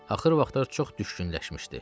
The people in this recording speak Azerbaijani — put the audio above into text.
Axır vaxtlar çox düşkünləşmişdi.